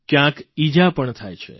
કયાંક ઇજા પણ થાય છે